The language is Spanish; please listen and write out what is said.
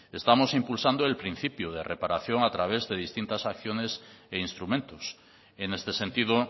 estamos impulsado el principio de reparación a través de distintas acciones e instrumentos en este sentido